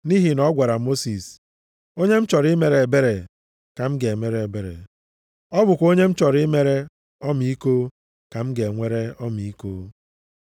Nʼihi na ọ gwara Mosis, “Onye m chọrọ imere ebere ka m ga-emere ebere, ọ bụkwa onye m chọrọ imere ọmịiko ka m ga-enwere ọmịiko.” + 9:15 \+xt Ọpụ 33:19\+xt*